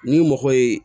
Ni mɔgɔ ye